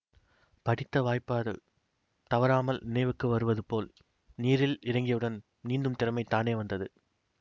படித்த வாய்பாடு தவறாமல் நினைவுக்கு வருவது போல் நீரில் இறங்கியவுடன் நீந்தும் திறமை தானே வந்தது